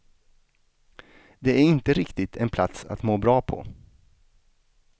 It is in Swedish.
Det är inte riktigt en plats att må bra på.